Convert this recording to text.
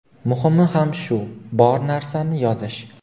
Muhimi ham shu – bor narsani yozish.